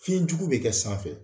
Fiɲɛjugu bɛ kɛ sanfɛ